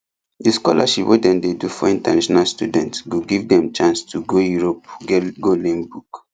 the scholarship wey dem dey do for international students go give dem chance to go europe go learn book